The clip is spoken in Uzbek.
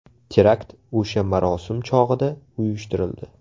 Terakt o‘sha marosim chog‘ida uyushtirildi.